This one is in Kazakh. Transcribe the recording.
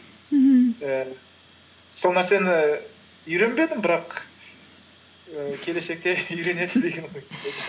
мхм і сол нәрсені үйренбедім бірақ і келешекте